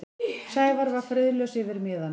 Sævar var friðlaus yfir miðanum.